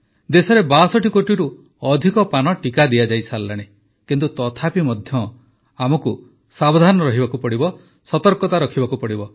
ଦେଶରେ ୬୨ କୋଟିରୁ ଅଧିକ ପାନ ଟିକା ଦିଆଯାଇସାରିଲାଣି କିନ୍ତୁ ତଥାପି ମଧ୍ୟ ଆମକୁ ସାବଧାନ ରହିବାକୁ ପଡ଼ିବ ସତର୍କତା ରଖିବାକୁ ହେବ